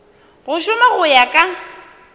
go šoma go ya ka